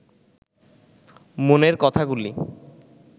মনের কথাগুলি